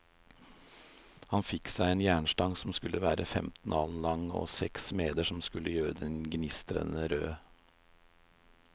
Han fikk seg en jernstang som skulle være femten alen lang, og seks smeder som skulle gjøre den gnistrende rød.